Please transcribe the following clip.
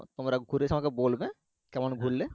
তোমরা ঘুরে এসে আমাকে বলবে কেমন ঘুরলে